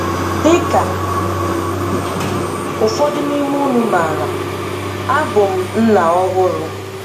Dị ka ụfọdụ n'ime ụnụ maara, abụ m nna ọhụrụ.